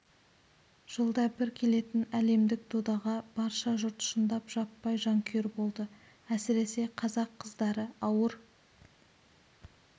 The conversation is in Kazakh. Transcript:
жылда бір келетін әлемдік додаға барша жұрт шындап жаппай жанкүйер болды әсіресе қазақ қыздары ауыр